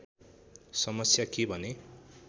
समस्या के भने